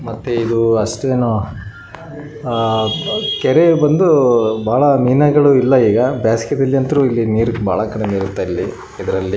ಮತ್ತೆ ಏರುವ ಅಸ್ತೆನೋ ಅಆ ಕೆರೆ ಬಂದು ಬಹಳ ಮಿನಗಳು ಇಲ್ಲ ಇಗ ಬ್ಯಾಸಗಿದಲ್ಲಂತ್ರು ಇಲ್ಲಿ ನೀರ ಭಾಳ ಕಡಿಮೆ ಇರ್ತದ ಇದ್ರಲ್ಲಿ .